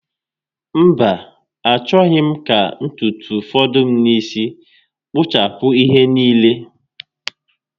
Mba, achọghị m ka ntutu fọdụ n'isi m. Kpụchapụ ihe niile